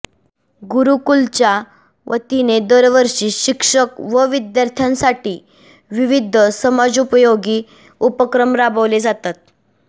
गुरुकुलच्या वतीने दरवर्षी शिक्षक व विद्यार्थ्यांसाठी विविध समाजोपयोगी उपक्रम राबवले जातात